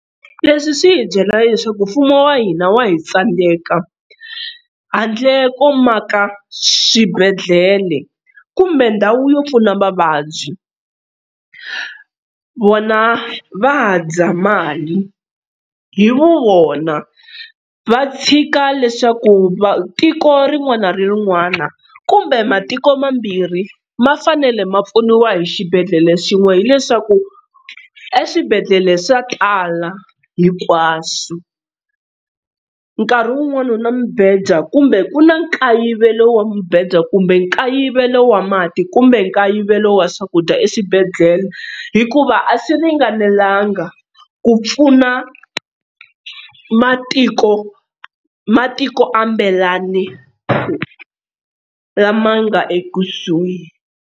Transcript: Leswi swi hi byela leswaku mfumo wa hina wa hi tsandeka handle ko maka swibedhlele kumbe ndhawu yo pfuna vavabyi vona va dya mali hi vu vona va tshika leswaku tiko rin'wana na rin'wana kumbe matiko mambirhi ma fanele ma pfuniwa hi xibedhlele xin'we hileswaku eswibedhlele swa tala hinkwaswo nkarhi wun'wana na mibedwa kumbe ku na nkayivelo wa mibedwa kumbe nkayivelo wa mati kumbe nkayivelo wa swakudya eswibedhlele hikuva a swi ringanelanga ku pfuna matiko matiko lama nga ekusuhi.